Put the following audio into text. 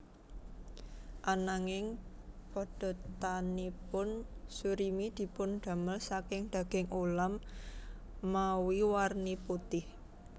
Ananging padatanipun surimi dipundamel saking daging ulam mawi warni putih